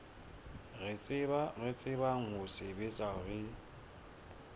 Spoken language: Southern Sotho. re tsebang ho sebetsa re